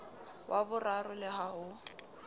wa boraro le ha ho